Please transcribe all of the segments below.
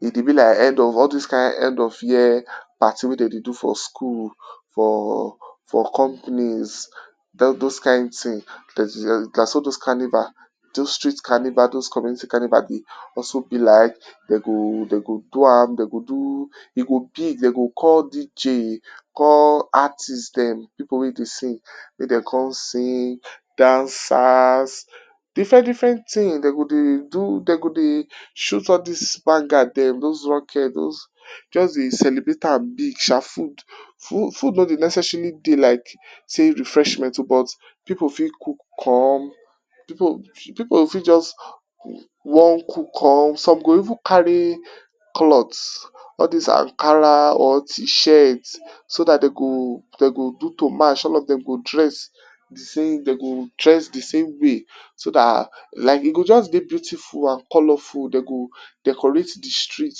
e dey be like all dis kind end of year, party wey dem dey do for school, for fro companies, those kind things na so those carnivals, those streets carnival those community carnivals dey also be like dem go dem go do am, dem go do, e go big dem go call DJ call artist dem pipu wey dey sing make dem come sing, dancers, different different things dem go dey do dem go dey, dem go dey shoot all dis bangad dem those rockets, just dey celebrate big sha food, food no dey necessarily dey like sey refreshment um but pipu fit cook come, pipu go fit just, wan cook come some go even carry, cloth, all dis Ankara or cheap shirt so dat dem go do to match all of dem go dress de same, dem go dress de same way so dat like e go just dey beautifula and colourful dem go decorate de street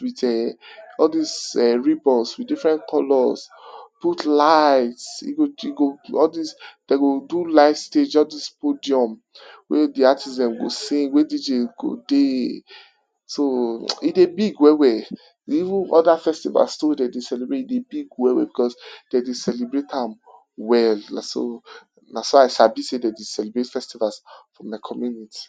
with um all dis ribbons with different colours, put light e go e go all dis um dem go do light stage all dis podium wey de artist dem go sing wey dem go dey, so e dey big well well. Even other festivals too wey dem dey celebrate too e dey big well well, dem dey celebrate am well na so I sabi sey dem dey celebrate festivals for y community.